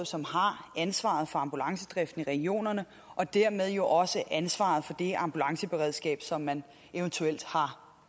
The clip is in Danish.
som har ansvaret for ambulancedriften i regionerne og dermed jo også ansvaret for det ambulanceberedskab som man eventuelt har